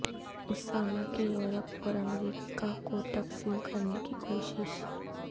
اسامہ کی یورپ اور امریکہ کو تقسیم کرنے کی کوشش